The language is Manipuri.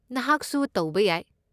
ꯅꯍꯥꯛꯁꯨ ꯇꯧꯕ ꯌꯥꯏ꯫